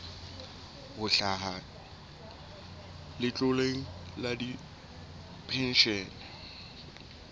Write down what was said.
ho hlaha letloleng la dipenshene